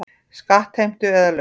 Skattheimtu eða lög.